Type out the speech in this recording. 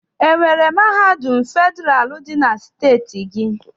Enwere mahadum federalụ dị na steeti gị?